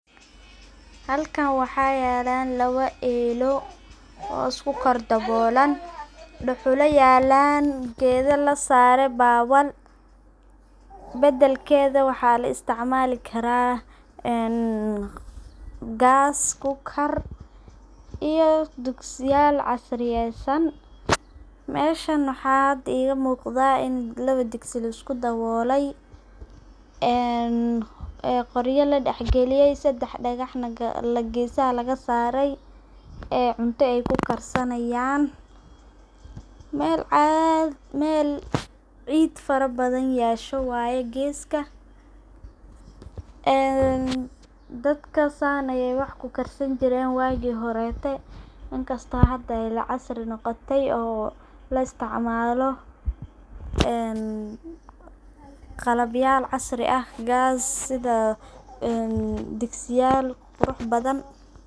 Halkan waxa yelan laba eloo oo isku kor dabolan, dhula yalan oo geda lasare ,bedelkeda waxa laisticmali karaa gas cooker iyo digsiyal casriyeysan. Meshan waxa hada iga muqda ini lawo digsi laisku dabolay ee qorya ladah galiye ,sedex dhagahna gesaha laga sarey ee cunta ay ku karsanayan mel cid fara badan yesha waye geska een dadka san ay wax ku karsani jiren wagi horete, inkasto hada casri noqote oo laisticmalo qalabyal casri ah sidha gas ee sidha digsiyal qurux badan.